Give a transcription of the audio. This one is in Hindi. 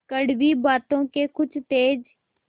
कड़वी बातों के कुछ तेज